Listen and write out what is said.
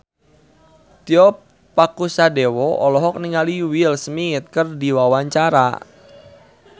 Tio Pakusadewo olohok ningali Will Smith keur diwawancara